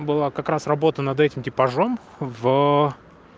была как раз работа над этим типажом в